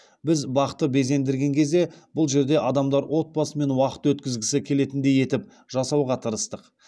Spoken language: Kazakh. біз бақты безендірген кезде бұл жерде адамдар отбасымен уақыт өткізгісі келетіндей етіп жасауға тырыстық